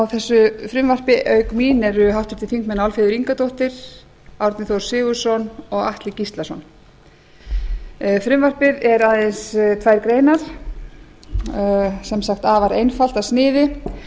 þessu frumvarpi auk mín eru háttvirtir þingmenn álfheiður ingadóttir árni þór sigurðsson og atli gíslason frumvarpið er aðeins tvær greinar sem sagt afar einfalt að sniði